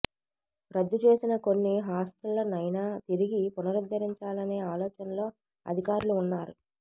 రద్దు చేసిన కొన్ని హాస్టళ్లనైనా తిరిగి పునరుద్ధరించాలనే ఆలోచనలో అధికారులు ఉన్నారు